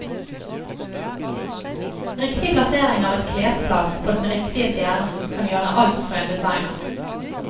Riktig plassering av et klesplagg på den riktige stjernen, kan gjøre alt for en designer.